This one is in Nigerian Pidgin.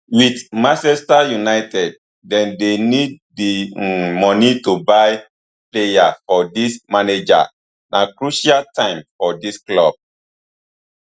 wit manchester united dem dey need di um moni to buy players for dis manager na crucial time for di club